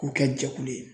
K'u kɛ jɛkulu ye